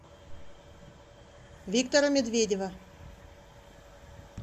виктора медведева